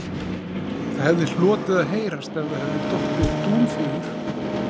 Það hefði hlotið að heyrast ef það hefði dottið dúnfjöður